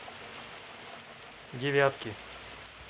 девятки